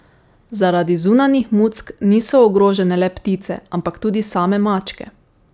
Zaradi zunanjih muck niso ogrožene le ptice, ampak tudi same mačke.